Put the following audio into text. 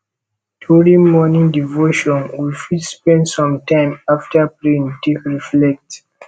during morning devotion we fit spend some time after praying take reflect